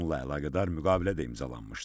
Bununla əlaqədar müqavilə də imzalanmışdı.